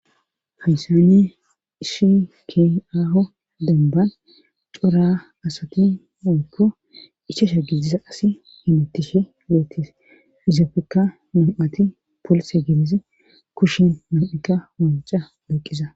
haysane ishi ki aaho demban cora asati monkko ichasha giidisa asi hamuttishe geetis izafekka nam7ati polse gidizi kushin nam7akka wanca doqiza